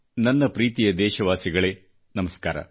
ನನ್ನ ಪ್ರೀತಿಯ ದೇಶವಾಸಿಗಳೇ ನಮಸ್ಕಾರ